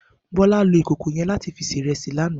Bola ló ikókó yèn làtí fi sé irèsí làná